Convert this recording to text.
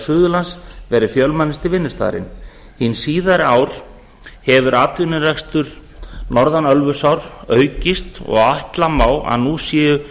suðurlands verið fjölmennasti vinnustaðurinn hin síðari ár hefur atvinnurekstur norðan ölfusár aukist og ætla má að nú séu